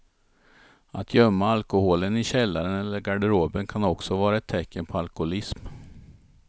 Att gömma alkoholen i källaren eller garderoben kan också vara ett tecken på alkoholism.